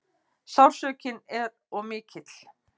Sársaukinn er of mikill.